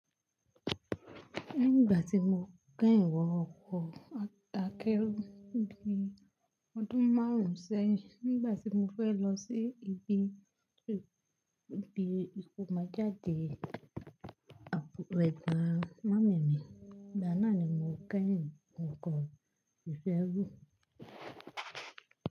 Nígbà tí mo kẹ́yìn wọ ọkọ̀ akẹ́rù ní bí ọdún márùn-ún sẹ́yìn, nígbà tí mo fẹ́ lọ sí ibi ìgbìmọ̀ jáde àpò ẹgbẹ́ màámi mi, ìgbáná ni mo kẹ́yìn ọkọ̀ ìṣẹ́ ẹrú.